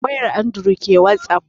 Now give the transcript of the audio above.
Wayan andured ke wasap